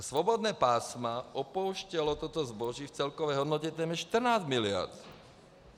A svobodná pásma opouštělo toto zboží v celkové hodnotě téměř 14 mld.